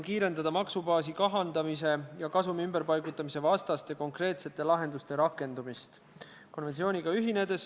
Artikkel 15 reguleerib raudteeveo-ettevõtja vastutust hilinemise, ühendusreisist mahajäämise ja reisi tühistamise eest.